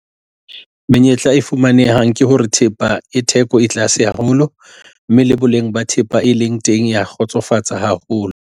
Menyetla e fumanehang ke hore thepa e theko e tlase haholo, mme le boleng ba thepa e leng teng ya kgotsofatsa haholo.